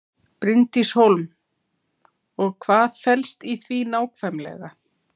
Bryndís Hólm: Og hvað felst í því nákvæmlega?